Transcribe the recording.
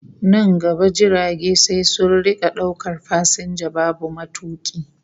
Nan gaba jirage sai sun rika daukar fasinja babu matuki